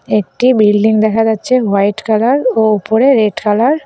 একটি বিল্ডিং দেখা যাচ্ছে হোয়াইট কালার ও উপরে রেড কালার ।